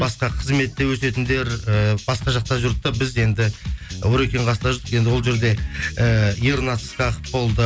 басқа қызметте өсетіндер ііі басқа жақта жүрді де біз енді орекеңнің қасында жүрдік енді ол жерде ііі ернат ысқақов болды